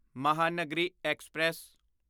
Mahanagari express